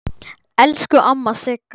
Elsku amma Sigga.